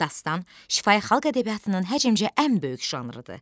Dastan şifahi xalq ədəbiyyatının həcmcə ən böyük janrıdır.